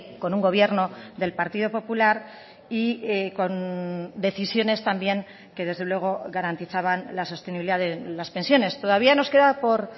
con un gobierno del partido popular y con decisiones también que desde luego garantizaban la sostenibilidad de las pensiones todavía nos queda por